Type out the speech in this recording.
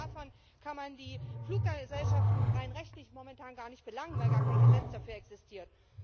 Abgesehen davon, kann man die Fluggesellschaften rein rechtlich momentan gar nicht belangen, weil gar kein Gesetz dafür existiert.